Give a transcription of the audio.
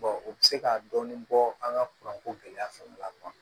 o bɛ se ka dɔɔnin bɔ an ka kuranko gɛlɛya fana la